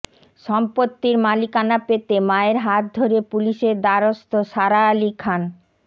সম্পত্তির মালিকানা পেতে মায়ের হাত ধরে পুলিশের দ্বারস্থ সারা আলি খান